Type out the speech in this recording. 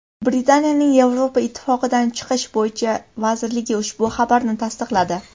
Britaniyaning Yevropa Ittifoqidan chiqish bo‘yicha vazirligi ushbu xabarni tasdiqladi .